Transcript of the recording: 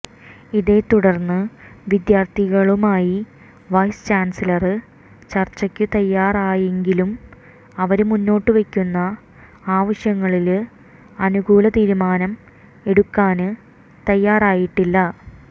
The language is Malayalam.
ഇതേ തുടര്ന്ന് വിദ്യാര്ത്ഥികളുമായി വൈസ് ചാന്സിലര് ചര്ച്ചയ്ക്ക് തയ്യാറായെങ്കിലും അവര് മുന്നോട്ടുവയ്ക്കുന്ന ആവശ്യങ്ങളില് അനുകൂല തീരുമാനം എടുക്കാന് തയ്യാറായിട്ടില്ല